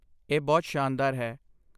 ਇਹ ਬਹੁਤ ਸ਼ਾਨਦਾਰ ਹੈ